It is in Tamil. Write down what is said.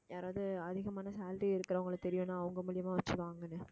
யாராவது அதிகமான salary இருக்கறவங்கள தெரியுன்னா அவங்க மூலியமா வச்சு வாங்குன்னு